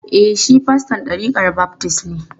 E, shi faston ɗarikar baftis ne.